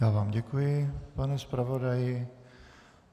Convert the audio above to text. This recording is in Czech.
Já vám děkuji, pane zpravodaji.